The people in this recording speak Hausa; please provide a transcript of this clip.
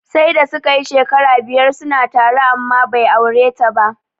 Sai da suka yi shekara biyar suna tare amma bai aure ta ba.